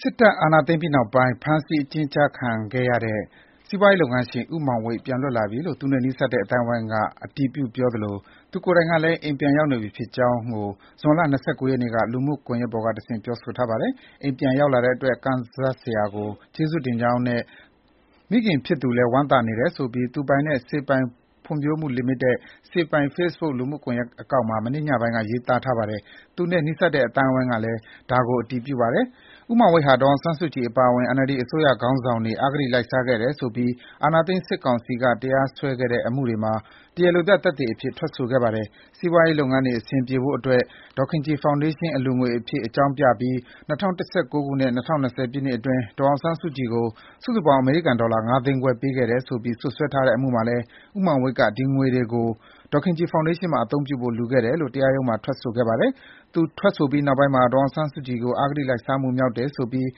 စစ်တပ် အာဏာသိမ်းပြီးနောက်ပိုင်း ဖမ်းဆီးအကျဉ်းချခံခဲ့ရတဲ့ စီးပွားရေးလုပ်ငန်းရှင် ဦးမောင်ဝိတ် ပြန်လွတ်လာပြီလို့ သူနဲ့နီးစပ်တဲ့ အသိုင်းအဝိုင်းက အတည်ပြုသလို၊ သူကိုယ်တိုင်ကလည်း အိမ်ပြန်ရောက်နေပြီ ဖြစ်ကြောင်းကို ဇွန်လ ၂၉ ရက်နေ့က လူမှုကွန်ရက်ပေါ်ကတဆင့် ပြောဆိုထားပါတယ်။ အိမ်ပြန်ရောက်လာတဲ့အတွက် ကံဇာတ်ဆရာကို ကျေးဇူးတင်ကြောင်းနဲ့ မိခင်ဖြစ်သူ လည်း ဝမ်းသာနေတယ်ဆိုပြီး သူပိုင်တဲ့ စေပိုင် ဖွံ့ဖြိုးမှုလီမိတက် Sae Paing ဖေ့စ်ဘွတ် လူမှု ကွန်ရက်အကောင့်မှာ မနေ့ ညပိုင်းက ရေးထားတာပါ။ သူနဲ့နီးစပ်တဲ့ အသိုင်းအဝိုင်းကလည်း ဒါကို အတည်ပြုပါတယ်။ ဦးမောင်ဝိတ်ဟာ ဒေါ်အောင်ဆန်းစုကြည် အပါအဝင် NLD အစိုးရ ခေါင်းဆောင်တွေ အဂတိ လိုက် စားခဲ့တယ်ဆိုပြီး အာဏာသိမ်း စစ်ကောင်စီက တရားစွဲတဲ့ အမှုတွေမှာ တရားလိုပြ သက်သေအဖြစ် ထွက်ဆိုခဲ့သူပါ။ စီးပွားရေးလုပ်ငန်းတွေ အဆင်ပြေဖို့အတွက် "ဒေါ်ခင်ကြည်ဖောင်ဒေးရှင်း" အလှူငွေအဖြစ် အကြောင်းပြပြီး ၂ဝ၁၉ ခုနှစ်နဲ့ ၂ဝ၂ဝ ပြည့်နှစ်အတွင်း ဒေါ်အောင်ဆန်းစုကြည်ကို စုစုပေါင်း အမေရိကန်ဒေါ်လာ ငါးသိန်းခွဲ ပေးခဲ့တယ်ဆိုပြီး စွပ်စွဲတဲ့အမှုမှာလည်း ဦးမောင်ဝိတ်က ဒီငွေတွေကို ဒေါ်ခင်ကြည်ဖောင်ဒေးရှင်းမှာ အသုံးပြုဖို့ လှူခဲ့တယ်လို့ တရားရုံးမှာ ထွက်ဆိုခဲ့ ပါတယ်။ သူထွက်ဆိုပြီးနောက်ပိုင်းမှာ ဒေါ်အောင်ဆန်းစုကြည်ကို အဂတိလိုက်စားမှုမြောက်တယ်ဆိုပြီး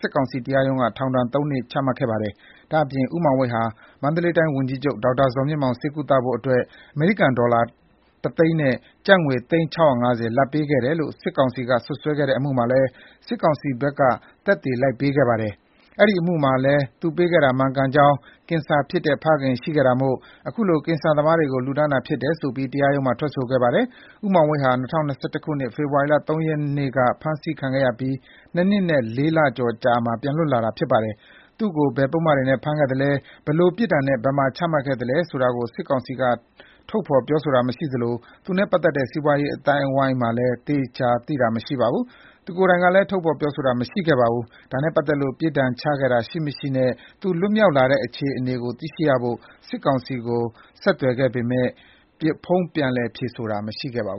စစ်ကောင်စီတရားရုံးက ထောင်ဒဏ် သုံးနှစ်ချခဲ့ပါတယ်။ ဒါ့အပြင် ဦးမောင်ဝိတ်ဟာ မန္တလေး တိုင်းဝန်ကြီးချုပ် ဒေါက်တာဇော်မြင့်မောင် ဆေးကုသဖို့အတွက် အမေရိကန်ဒေါ်လာ တစ်သိန်းနဲ့ ကျပ်ငွေ သိန်း ၆၅၀ လာဘ်ပေးခဲ့တယ်လို့ စစ်ကောင်စီက စွပ်စွဲခဲ့မှုမှာလည်း စစ်ကောင်စီဘက်က သက်သေလိုက်ပေးခဲ့ပါတယ်။ အဲဒီအမှုမှာလည်း သူပေးခဲ့တာမှန်ကြောင်း၊ ကင်ဆာအဖေ ရှိခဲ့တာမို့ အခုလို ကင်ဆာသမားတွေကို လှုဒါန်းတာဖြစ်တယ်ဆိုပြီး တရားရုံးမှာ ထွက်ဆိုခဲ့ပါတယ်။ ဦးမောင်ဝိတ်ဟာ ၂၀၂၁ ခုနှစ် ဖေဖော်ဝါရီ ၃ ရက်နေ့က ဖမ်းဆီးခံခဲ့ရပြီး နှစ်နှစ်နဲ့လေးလကျော် အကြာမှာ ပြန်လွတ်လာတာပါ။ သူ့ကို ဘယ်ပုဒ်မတွေနဲ့ ဖမ်းခဲ့သလဲ၊ ဘယ်လိုပြစ်ဒဏ်နဲ့ ဘယ်မှာ ချမှတ်ခံရသလဲ ဆိုတာကို စစ်ကောင်စီက ထုတ်ဖော်ပြောတာ မရှိသလို သူနဲ့ပတ်သတ်တဲ့ စီးပွားရေး အသိုင်းအဝိုင်းမှာလည်း သေချာသိတာမရှိခဲ့ပါဘူး။ သူကိုယ်တိုင်ကလည်း ထုတ်ဖော်ပြောဆိုတာ မရှိခဲ့ပါဘူး။ သူနဲ့ပတ်သတ်လို့ ပြစ်ဒဏ်ချခဲ့တာ ရှိ မရှိ နဲ့ သူ့လွတ်မြောက်လာတဲ့ အခြေအနေကို သိရဖို့ စစ်ကောင်စီကို ဖုန်းဆက်သွယ် မေးမြန်းပေမဲ့ ဖုန်းပြန်လည် ဖြေဆိုတာမရှိသေးပါဘူး